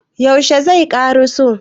yaushe zai ƙaraso?